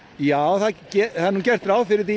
já það er gert ráð fyrir því